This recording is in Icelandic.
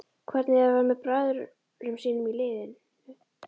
Hvernig er að vera með bræðrum sínum í liðinu?